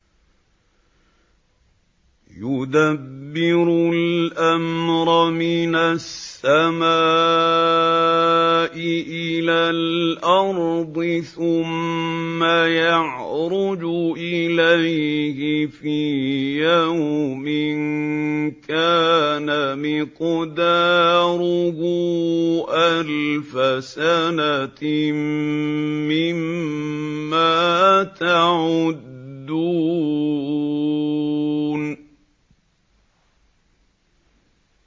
يُدَبِّرُ الْأَمْرَ مِنَ السَّمَاءِ إِلَى الْأَرْضِ ثُمَّ يَعْرُجُ إِلَيْهِ فِي يَوْمٍ كَانَ مِقْدَارُهُ أَلْفَ سَنَةٍ مِّمَّا تَعُدُّونَ